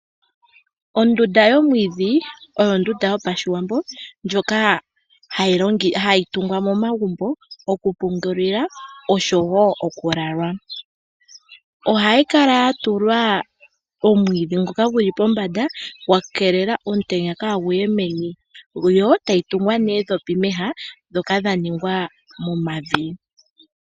Ondunda yomwiidhi oyo ondunda yOshiwambo ndjoka hayi tungwa momagumbo okupungulilwa nosho wo okulalwa. Ohayi kala ya tulwa omwiidhi ngoka gu li pombanda gwa keelela omutenya kaagu ye meni yo tayi tungwa noondhopi mooha ndhoka dha ningwa momavi.